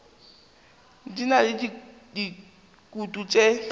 di na le dikutu tše